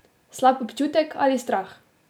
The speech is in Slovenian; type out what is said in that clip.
Slab občutek ali strah?